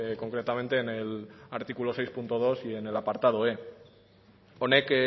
concretamente en el artículo seis punto dos y en el apartado e honek